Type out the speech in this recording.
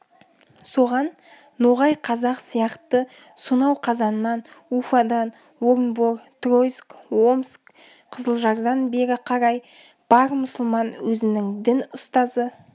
соған ноғай қазақ сияқты сонау қазаннан уфадан орынбор тройцк омск қызылжардан бері қарай бар мұсылман өзінің дін ұстазы